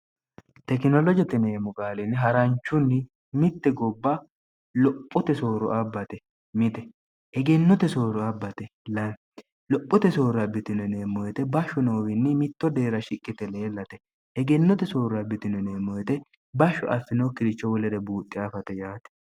tekinolojoteneemmo qaalinni ha'ranchunni mitte gobba lophote sooro abbate mite egennote sooro abbate l lophote soorra bitinoneemmoyete bashshu noowiinni mitto deera shiqqite leellate egennote soorra bitinoneemmoyete bashshu affinookkiricho wolere buuxxi aafate yaate